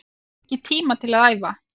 Ég hef ekki tíma til að æfa